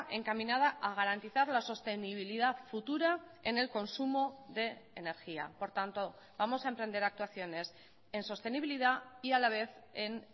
encaminada a garantizar la sostenibilidad futura en el consumo de energía por tanto vamos a emprender actuaciones en sostenibilidad y a la vez en